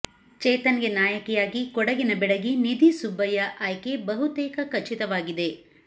ಚೇತನ್ ಗೆ ನಾಯಕಿಯಾಗಿ ಕೊಡಗಿನ ಬೆಡಗಿ ನಿಧಿ ಸುಬ್ಬಯ್ಯ ಆಯ್ಕೆ ಬಹುತೇಕ ಖಚಿತವಾಗಿದೆ